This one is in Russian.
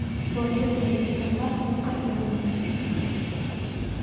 положи семечки от мартина в корзину